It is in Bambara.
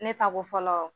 Ne ta ko fɔlɔ